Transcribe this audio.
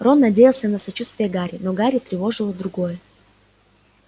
рон надеялся на сочувствие гарри но гарри тревожило другое